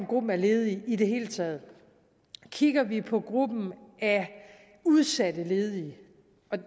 gruppen af ledige i det hele taget kigger vi på gruppen af udsatte ledige